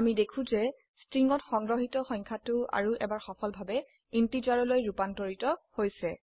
আমি দেখো যে স্ট্ৰিংত সংগ্ৰহিত সংখ্যাটো আৰু এবাৰ সফলভাবে ইন্টিজাৰলৈ ৰুপান্তৰিত হৈছে